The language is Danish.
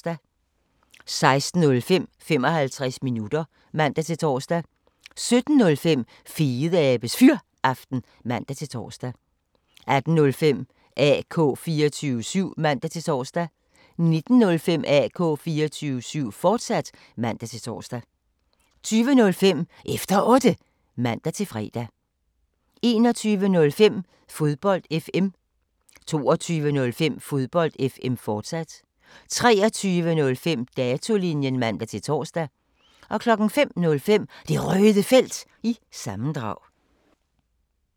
16:05: 55 minutter (man-tor) 17:05: Fedeabes Fyraften (man-tor) 18:05: AK 24syv (man-tor) 19:05: AK 24syv, fortsat (man-tor) 20:05: Efter Otte (man-fre) 21:05: Fodbold FM 22:05: Fodbold FM, fortsat 23:05: Datolinjen (man-tor) 05:05: Det Røde Felt – sammendrag